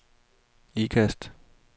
Ikast